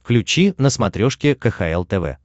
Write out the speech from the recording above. включи на смотрешке кхл тв